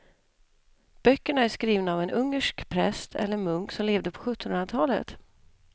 Böckerna är skrivna av en ungersk präst eller munk som levde på sjuttonhundratalet.